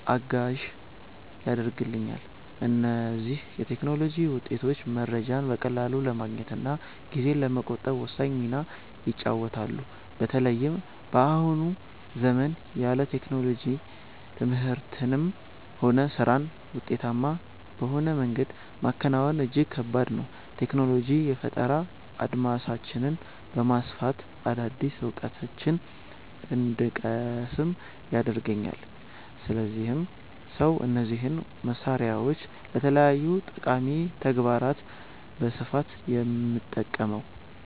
እገዛ ያደርግልኛል። እነዚህ የቴክኖሎጂ ውጤቶች መረጃን በቀላሉ ለማግኘትና ጊዜን ለመቆጠብ ወሳኝ ሚና ይጫወታሉ። በተለይም በአሁኑ ዘመን ያለ ቴክኖሎጂ ትምህርትንም ሆነ ስራን ውጤታማ በሆነ መንገድ ማከናወን እጅግ ከባድ ነው። ቴክኖሎጂ የፈጠራ አድማሳችንን በማስፋት አዳዲስ እውቀቶችን እንድንቀስም ይረዳናል፤ ለዚህም ነው እነዚህን መሳሪያዎች ለተለያዩ ጠቃሚ ተግባራት በስፋት የምጠቀመው።